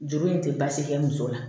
Juru in tɛ baasi kɛ muso la